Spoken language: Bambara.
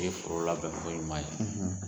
O ye foro la bɛn ko ɲuman ye